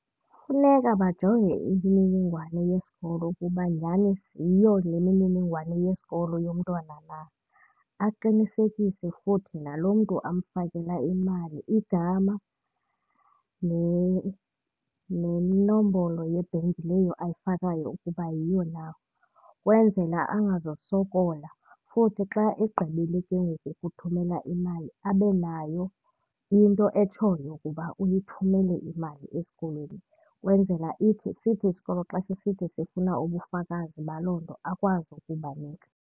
Funeka bajonge imininingwane yesikolo ukuba nyani yiyo le mininingwane yesikolo yomntwana na. Aqinisekise futhi nalo mntu amfakela imali igama nenombolo yebhenki leyo ayifakayo ukuba yiyo na ukwenzela angazosokola. Futhi xa egqibile ke ngoku ukuthumela imali abe nayo into etshoyo ukuba uyithumele imali esikolweni ukwenzela ithi sithi isikolo xa sisithi sifuna ubufakazi baloo nto akwazi ukubanika.